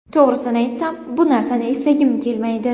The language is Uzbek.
To‘g‘risini aytsam, bu narsani eslagim kelmaydi.